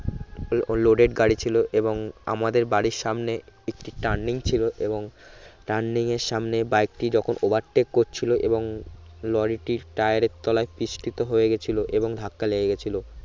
loaded গাড়ি ছিলো এবং আমাদের বাড়ির সামনে একটি turning ছিলো এবং turning এর সামনে বাইকটি যখন overtake করছিলো এবং লরিটির টায়ারের তলায় পৃষ্ঠিত হয়ে গেছিলো এবং ধাক্কা লেগে গেছিলো